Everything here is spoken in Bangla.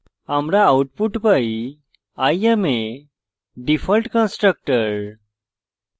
আমরা output পাই i am a default constructor